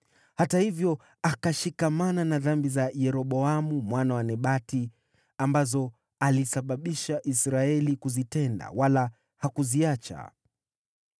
Hata hivyo akashikamana na dhambi za Yeroboamu mwana wa Nebati, ambazo alisababisha Israeli kuzitenda, wala hakuziacha.